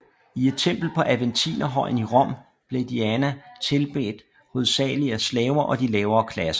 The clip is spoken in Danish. I et tempel på Aventinerhøjen i Rom blev Diana tilbedt hovedsagelig af slaver og de lavere klasser